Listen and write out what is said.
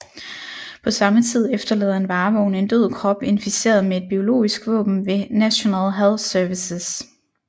På samme tid efterlader en varevogn en død krop inficeret med et biologisk våben ved National Health Services